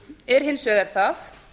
er hins vegar það